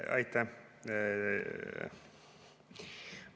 Aitäh!